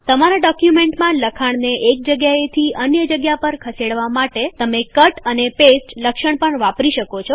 તમારા ડોક્યુમેન્ટમાં લખાણને એક જગ્યાએ થી અન્ય જગ્યા પર ખસેડવા માટે તમે કટ અને પેસ્ટ લક્ષણ પણ વાપરી શકો છો